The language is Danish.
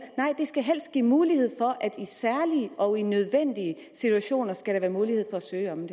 nej den skal helst give mulighed for at der i særlige og nødvendige situationer skal være mulighed for at søge om